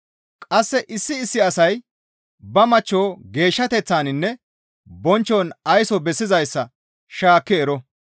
Qasse issi issi asay ba machcho geeshshateththaninne bonchchon ayso bessizayssa shaakki ero.